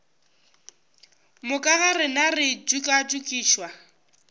moka ga rena re tšokatšokišwa